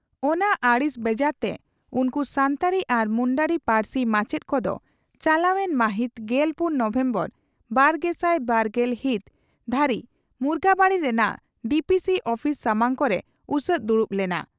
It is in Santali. ᱚᱱᱟ ᱟᱹᱲᱤᱥ ᱵᱮᱡᱟᱨᱛᱮ ᱩᱱᱠᱩ ᱥᱟᱱᱛᱟᱲᱤ ᱟᱨ ᱢᱩᱱᱰᱟᱹᱨᱤ ᱯᱟᱹᱨᱥᱤ ᱢᱟᱪᱮᱛ ᱠᱚᱫᱚ ᱪᱟᱞᱟᱣᱮᱱ ᱢᱟᱹᱦᱤᱛ ᱜᱮᱞ ᱯᱩᱱ ᱱᱚᱵᱷᱮᱢᱵᱚᱨ ᱵᱟᱨᱜᱮᱥᱟᱭ ᱵᱟᱨᱜᱮᱞ ᱦᱤᱛ ᱫᱷᱟᱹᱨᱤᱡ ᱢᱩᱜᱟᱵᱟᱹᱰᱤ ᱨᱮᱱᱟᱜ ᱰᱤᱹᱯᱤᱹᱥᱤᱹ ᱩᱯᱤᱥ ᱥᱟᱢᱟᱝ ᱠᱚᱨᱮ ᱩᱥᱟᱹᱫᱽ ᱫᱩᱲᱩᱵ ᱞᱮᱱᱟ ᱾